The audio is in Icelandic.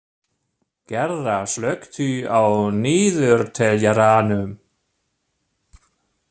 Gerða, slökktu á niðurteljaranum.